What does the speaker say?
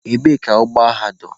Ebee ka ụgbọ agha dọ?